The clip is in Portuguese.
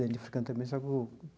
Ele é africano também, sabe o?